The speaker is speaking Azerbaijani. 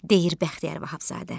Deyir Bəxtiyar Vahabzadə.